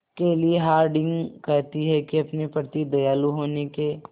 केली हॉर्डिंग कहती हैं कि अपने प्रति दयालु होने के